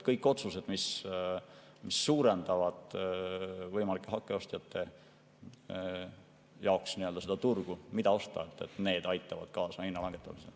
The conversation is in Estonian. Kõik otsused, mis suurendavad võimalike hakkeostjate jaoks turgu, kust osta, aitavad kaasa hinna langetamisele.